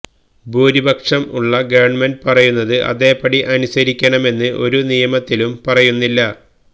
ഭൂരിപക്ഷം ഉള്ള ഗവണ്മെന്റ് പറയുന്നത് അതേപടി അനുസരിക്കണമെന്ന് ഒരു നിയമത്തിലും പറയുന്നില്ല